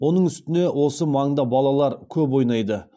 оның үстіне осы маңда балалар көп ойнайды